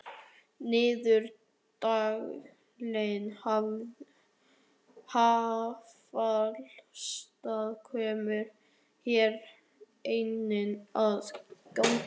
Niðurdæling affallsvatns kemur hér einnig að gagni.